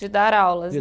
De dar aulas.